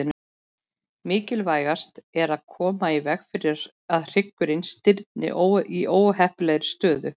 Mikilvægast er að koma í veg fyrir að hryggurinn stirðni í óheppilegri stöðu.